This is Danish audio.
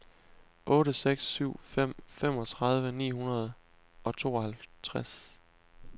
otte seks syv fem femogtredive ni hundrede og tooghalvtreds